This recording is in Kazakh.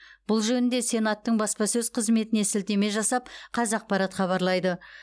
бұл жөнінде сенаттың баспасөз қызметіне сілтеме жасап қазақпарат хабарлайды